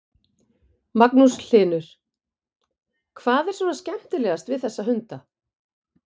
Magnús Hlynur: Hvað er svona skemmtilegast við þessa hunda?